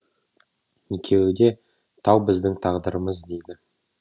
екеуі де тау біздің тағдырымыз дейді